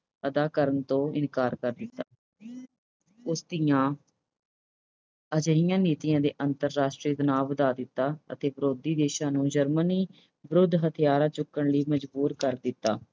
ਅਦਾ ਕਰਨ ਤੋਂ ਇਨਕਾਰ ਕਰ ਦਿੱਤਾ। ਉਸ ਦੀਆਂ ਅਜਿਹੀਆਂ ਨੀਤੀਆਂ ਨੇ ਅੰਤਰਾਸ਼ਟਰੀ ਗੁਨਾਹ ਵਧਾ ਦਿੱਤਾ ਅਤੇ ਵਿਰੋਧੀ ਦੇਸ਼ਾਂ ਨੂੰ Germany ਵਿਰੁੱਧ ਹਥਿਆਰ ਚੁੱਕਰ ਲਈ ਮਜ਼ਬੂਰ ਕਰ ਦਿੱਤਾ।